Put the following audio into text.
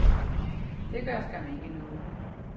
Det gør skam ikke noget.